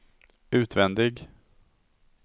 utvändig